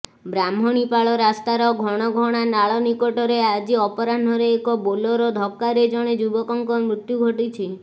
ବ୍ରାହ୍ମଣୀପାଳ ରାସ୍ତାର ଘଣଘଣା ନାଳ ନିକଟରେ ଆଜି ଅପରାହ୍ଣରେ ଏକ ବୋଲେରୋ ଧକ୍କାରେ ଜଣେ ଯୁବକଙ୍କ ମୃତ୍ୟୁ ଘଟିଛି